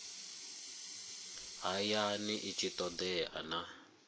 hayani i tshi todea na